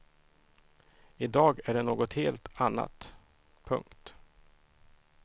I dag är det något helt annat. punkt